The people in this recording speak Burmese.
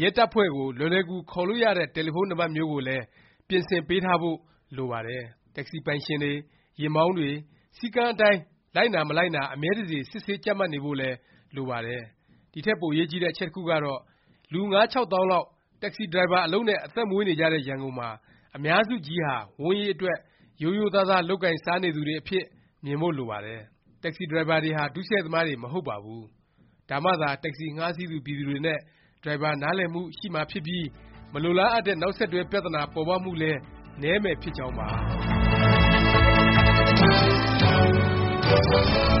ရဲတပ်ဖွဲ့ကို လွယ်လွယ်ကူကူ ခေါ်လို့ရတဲ့ တယ်လီဖုန်းနံပတ်မျိုးကိုလည်း ပြင်ဆင်ပေးထားဖို့ လိုပါတယ်။ တက္ကစီပိုင်ရှင်တွေ၊ ယာဉ်မောင်းတွေ စည်းကမ်းအတိုင်း လိုက်နာ မလိုက်နာ အမြဲတစေ စစ်ဆေး ကြပ်မတ်နေဖို့လည်း လိုပါတယ်။ ဒီထက် ပိုအရေးကြီးတဲ့ အချက်တစ်ခုကတော့ လူ ၅-၆ သောင်းလောက် တက္ကစီ ဒရိုင်ဘာ အလုပ်နဲ့ အသက်မွေးနေကြတဲ့ ရန်ကုန်မှာ အများစုကြီးဟာ ဝမ်းရေးအတွက် ရိုးရိုးသားသား လုပ်ကိုင်စားနေသူတွေအဖြစ် မြင်ဖို့ လိုပါတယ်။ တက္ကစီဒရိုင်ဘာတွေဟာ ဒုစရိုက်သမားတွေ မဟုတ်ပါဘူး။ ဒါမှသာ တက္ကစီ ငှားစီးသူ ပြည်သူတွေနဲ့ ဒရိုင်ဘာ နားလည်မှု ရှိမှာဖြစ်ပြီး မလိုလားအပ်တဲ့ နောက်ဆက်တွဲ ပြသနာ ပေါ်ပေါက်မှုလည်း နည်းမယ် ဖြစ်ကြောင်းပါ